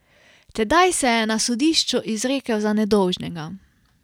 Tedaj se je na sodišču izrekel za nedolžnega.